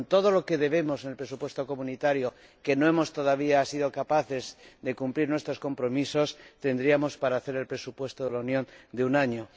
Con todo lo que debemos en el presupuesto de la UE, pues todavía no hemos sido capaces de cumplir nuestros compromisos, tendríamos para hacer el presupuesto de la Unión de un año.